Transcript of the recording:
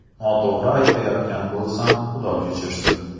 Noto‘g‘ri aytayotgan bo‘lsam, Xudo kechirsin.